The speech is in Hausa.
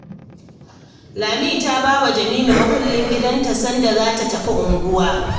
Lami ta ba wa Jamila mukullin gidanta sanda za ta tafi unguwa